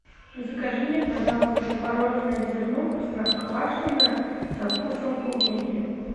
закажи мне пожалуйста творожное зерно простоквашино со вкусом клубники